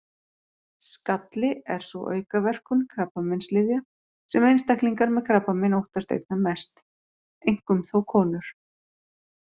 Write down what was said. Skalli er sú aukaverkun krabbameinslyfja sem einstaklingar með krabbamein óttast einna mest, einkum þó konur.